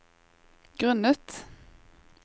grunnet